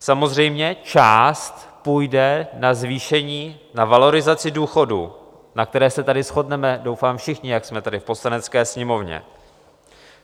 Samozřejmě část půjde na zvýšení, na valorizaci důchodů, na které se tady shodneme doufám všichni, jak jsme tady v Poslanecké sněmovně.